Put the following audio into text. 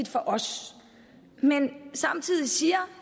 for os men samtidig siger